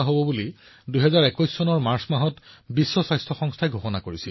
বন্ধুসকল আজি ৰাষ্ট্ৰসংঘৰ কথা কওঁতে মোৰ অটলজীৰ কথাবোৰো মনত পৰিছে